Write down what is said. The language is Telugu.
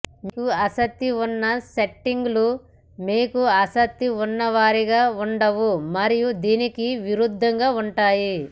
మీకు ఆసక్తి ఉన్న సెట్టింగ్లు మీకు ఆసక్తి ఉన్నవారిగా ఉండవు మరియు దీనికి విరుద్ధంగా ఉంటాయి